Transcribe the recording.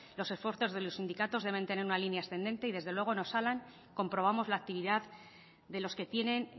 los esfuerzos de los sindicatos deben tener una línea ascendente y desde luego en osalan comprobamos la actividad de los que tienen